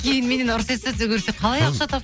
кейін меннен ұрыс естіді қалай ақша